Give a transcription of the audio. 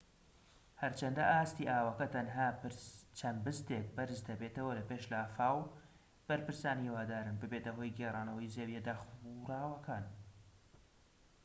هەرچەندە ئاستی ئاوەکە تەنها چەند بستێك بەرز دەبێتەوە لەپاش لافاو بەرپرسان هیوادارن ببێتە هۆی گێرانەوەی زەویە داخوراوەکان